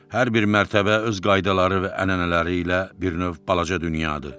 Hər bir mərtəbə öz qaydaları və ənənələri ilə bir növ balaca dünyadır.